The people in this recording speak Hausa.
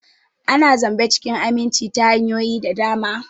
Ana zamba cikin aminci ta hanyoyi da dama.